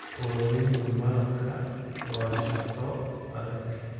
Ururinta malabka waa shaqo adag.